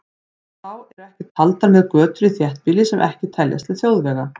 Þá eru ekki taldar með götur í þéttbýli sem ekki teljast til þjóðvega.